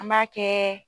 An b'a kɛ